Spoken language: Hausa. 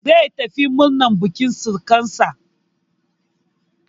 Zai tafi murnan bukin surukansa.